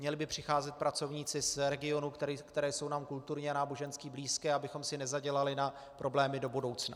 Měli by přicházet pracovníci z regionů, které jsou nám kulturně a nábožensky blízké, abychom si nezadělali na problémy do budoucna.